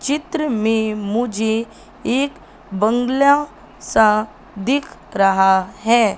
चित्र में मुझे एक बंगला सा दिख रहा है।